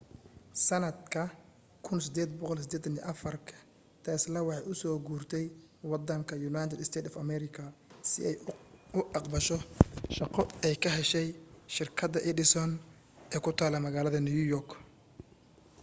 sanadka 1884 tesla waxay u soo guurtay wadanka united states of america si ay u caqbasho shaqo ay ka heshay shirkada edison ee ku tala magalada new york